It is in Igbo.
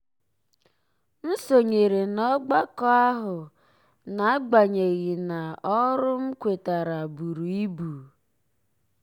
m sonyere ọgbakọ ahụ n'agbanyeghị na ọrụ ndị m kwetara buru ibu.